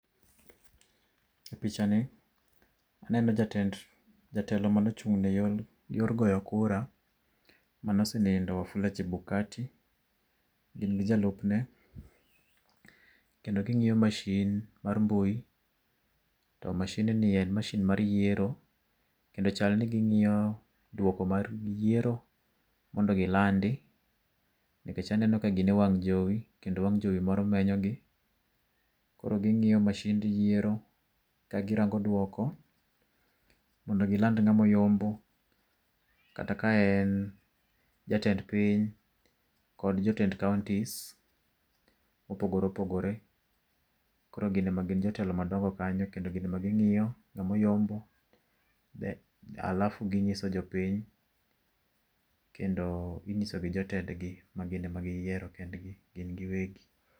E pichani, aneno jatend jatelo mane ochung' ne yor goyo kura mane osenindo Wafula Chebukati, gin gi jalupne kendo gi ng'iyo masin mar mbui to masind ni en masin mar yiero, kendo chal ni ging'iyo duoko mar yiero, mondo gilandi nikech aneno ka gin e wang' jowi. Kendo wang' jowi moro menyogi. Koro ging'iyo masind yiero ka girango duoko mondo giland ng'ama oyombo kata ka en jatend piny kod jotend kaonti mopogore opogore. Koro gin ema gin jotelo madongo kanyo kendo ging'iyo ng'ama oyombo alafu ginyiso jo piny kendo inyiso gi jotendgi ma gin ema giyiero gin giwegi.